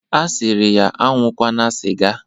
Ọ sịrị ya aṅụkwana sịga